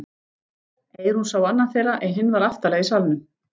Eyrún sá annan þeirra en hinn var aftarlega í salnum.